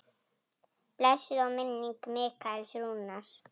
Blessuð sé minning Mikaels Rúnars.